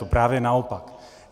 To právě naopak.